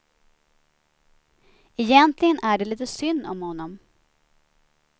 Egentligen är det lite synd om honom.